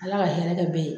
Ala ka hɛrɛ kɛ bɛn